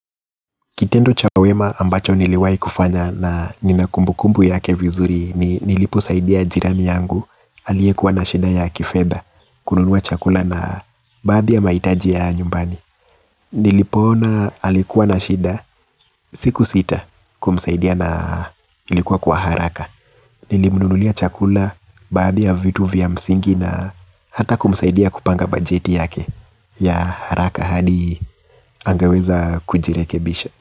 Kitendo cha wema ambacho niliwahi kufanya na nina kumbukumbu yake vizuri ni nilipo saidia jirani yangu aliyekuwa na shida ya kifedha kununua chakula na baadhi ya mahitaji ya nyumbani. Nilipo ona alikuwa na shida sikusita kumsaidia na ilikuwa kwa haraka. Nilimnunulia chakula baadhi ya vitu vya msingi na hata kumsaidia kupanga bajeti yake ya haraka hadi angeweza kujirekebisha.